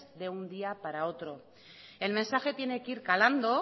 de un día para otro el mensaje tiene que ir calando